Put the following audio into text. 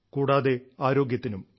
കൂടാതെ ആരോഗ്യത്തിനും